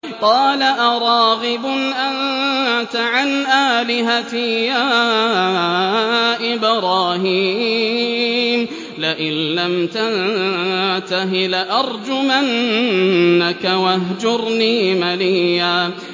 قَالَ أَرَاغِبٌ أَنتَ عَنْ آلِهَتِي يَا إِبْرَاهِيمُ ۖ لَئِن لَّمْ تَنتَهِ لَأَرْجُمَنَّكَ ۖ وَاهْجُرْنِي مَلِيًّا